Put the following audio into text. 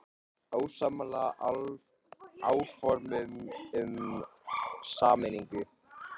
Ósammála áformum um sameiningu